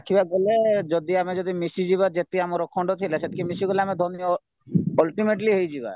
ଦେଖିବାକୁ ଗଲେ ଯଦି ଆମେ ଯଦି ମିଶିଯିବ ଯେତିକି ଆମର ଅଖଣ୍ଡ ସେତିକି ମିଶିଗଲେ ଆମେ ଧନୀ ultimately ହେଇଯିବ